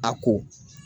A ko